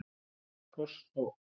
Fossá